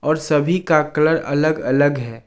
और सभी का कलर अलग अलग है।